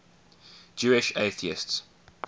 jewish atheists